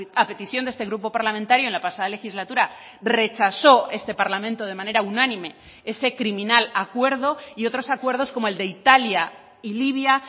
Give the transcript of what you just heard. a petición de este grupo parlamentario en la pasada legislatura rechazó este parlamento de manera unánime ese criminal acuerdo y otros acuerdos como el de italia y libia